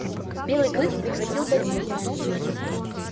белый клык прекратил борьбу